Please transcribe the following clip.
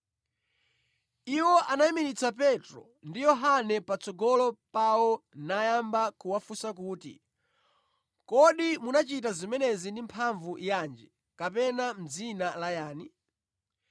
Iwo anayimiritsa Petro ndi Yohane patsogolo pawo nayamba kuwafunsa kuti, “Kodi munachita zimenezi ndi mphamvu yanji kapena mʼdzina la yani?”